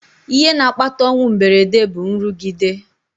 Ihe na-akpata ọnwụ mberede bụ nrụgide